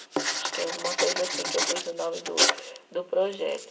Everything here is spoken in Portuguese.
Acho que é alguma coisa assim que eu pus o nome do do projeto.